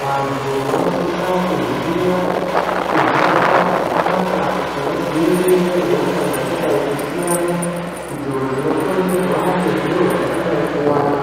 vantu vanosisa kuziya kuzvibata zvakanaka kuti vadzivirire hosha dzakadai kusiyana idzo dzinokonzerwa ngezviro zvakadai kuwanda .